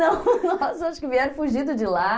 Não, nossa, acho que vieram fugidos de lá.